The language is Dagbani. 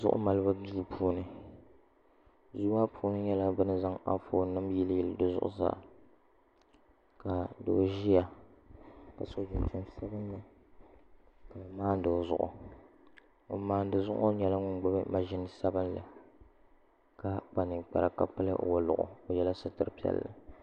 Zuɣu malibu duu puuni duu maa puuni nyɛla bini zaŋ Anfooni nim yili yili zuɣusaa ka doo ʒiya ka so jinjɛm sabinli ka bi maandi o zuɣu ŋun maandi zuɣu ŋo nyɛla ŋun gbubi mashin sabinli ka kpa ninkpara ka pili woliɣi o yɛla sitiri piɛlli